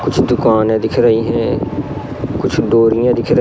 कुछ दुकाने दिख रही हैं कुछ डोरिया दिख र--